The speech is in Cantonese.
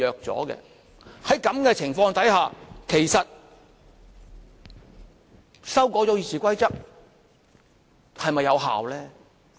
在此情況之下，其實修改《議事規則》是否有效呢？